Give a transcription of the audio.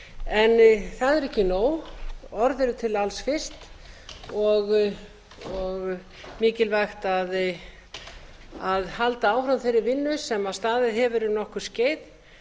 það er ekki nóg orð eru til alls fyrst og mikilvægt að halda áfram þeirri vinnu sem staðið hefur um nokkurt skeið